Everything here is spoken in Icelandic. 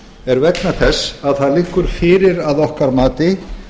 er vegna þess að það liggur fyrir að okkar mati